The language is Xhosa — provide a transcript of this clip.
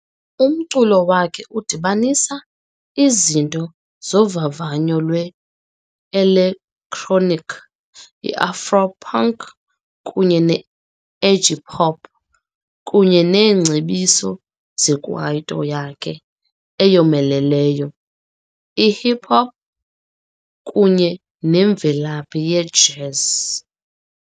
Umculo wakhe udibanisa izinto zovavanyo lwe-elektroniki, i-afro-punk kunye ne-edgy-pop kunye neengcebiso zekwaito yakhe eyomeleleyo, ihip hop kunye nemvelaphi yejazz.